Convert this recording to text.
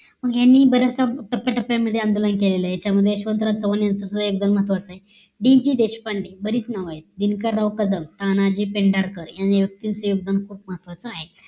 मग यांनी बरेच टप्प्या टप्प्या मध्ये आंदोलन केले त्यामध्ये यशवंराव चव्हाण यांचा सुद्धा महत्वाचं आहे डि जी देशपांडे बरीच नाव आहेत दिनकर राव कदम तानाजी, पेंढारकर यांनी या व्यक्तीच योगदान पण खूप महत्वाचं आहे